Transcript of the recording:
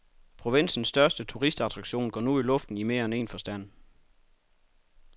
Provinsens største turistattraktion går nu i luften i mere end en forstand.